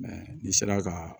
n'i sera ka